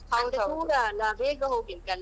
ಮತ್ತೆ ದೂರ ಅಲ್ಲಾ ಬೇಗ ಹೋಗ್ಲಿಕಲ್ಲಾ.